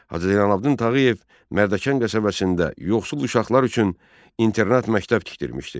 Hacı Zeynallabdin Tağıyev Mərdəkan qəsəbəsində yoxsul uşaqlar üçün internat məktəb tikdirmişdi.